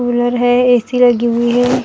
Cooler है AC लगी हुई है।